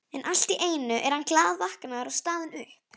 En allt í einu er hann glaðvaknaður og staðinn upp.